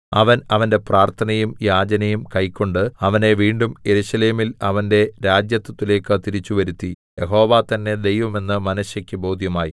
അവൻ അവന്റെ പ്രാർത്ഥനയും യാചനയും കൈക്കൊണ്ട് അവനെ വീണ്ടും യെരൂശലേമിൽ അവന്റെ രാജത്വത്തിലേക്ക് തിരിച്ചുവരുത്തി യഹോവ തന്നെ ദൈവം എന്ന് മനശ്ശെക്ക് ബോധ്യമായി